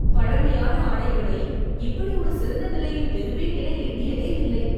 பழமையான ஆடைகளை இப்படி ஒரு சிறந்த நிலையில் பெறுவேன் என எண்ணியதேயில்லை.